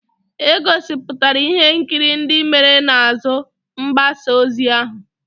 E gosipụtara ihe nkiri ndị mere n'azụ mgbasa ozi ahụ.